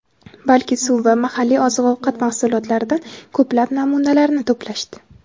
balki suv va mahalliy oziq-ovqat mahsulotlaridan ko‘plab namunalarni to‘plashdi.